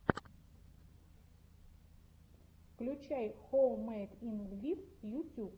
включай хоуммэйд ин лвив ютьюб